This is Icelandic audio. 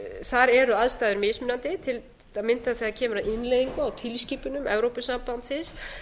þar eru aðstæður mismunandi til að mynda þegar kemur að innleiðingu á tilskipunum evrópusambandsins